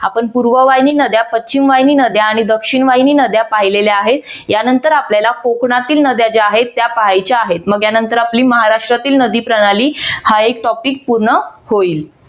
आपण पूर्ववाहिनी नद्या पश्चिमवाहिनी नद्या आणि दक्षिणवाहिनी नद्या पाहिलेल्या आहेत. यानंतर आपल्याला कोकणातील नद्या ज्या आहेत त्या पाहायच्या आहेत मग त्या नंतर आपली महाराष्ट्रातील नदी प्रणाली हा एक topic पूर्ण होईल.